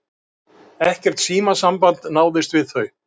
Ekkert símasamband náðist við þau